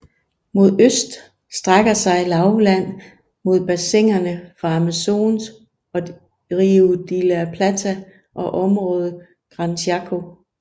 Mod øst strækker sig lavland mod bassinerne for Amazos og Rio de la Plata og området Gran Chaco